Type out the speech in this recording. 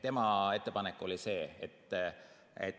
Tema ettepanek oli see.